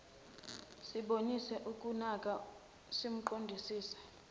sibonise ukunaka simqondisise